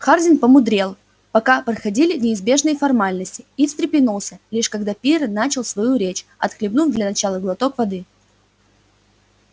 хардин полудремал пока проходили неизбежные формальности и встрепенулся лишь когда пиренн начал свою речь отхлебнув для начала глоток воды